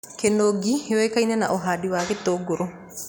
Kĩnũngi yũĩkine na ũhandi wa gĩtũngũrũ